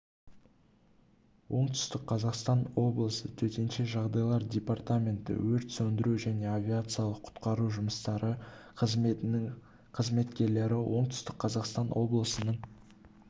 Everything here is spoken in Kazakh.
оңтүстік қазақстан облысы төтенше жағдайлар департаменті өрт сөндіру және авариялық-құтқару жұмыстары қызметінің қызметкерлері оңтүстік қазақстан облысының